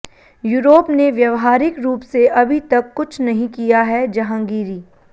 Europe ने व्यवहारिक रूप से अभी तक कुछ नहीं किया हैः जहांगीरी